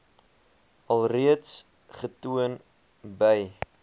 alreeds getoon by